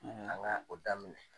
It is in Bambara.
an ŋa o daminɛ!